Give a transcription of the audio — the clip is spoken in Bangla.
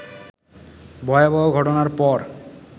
ভয়াবহ ঘটনার পর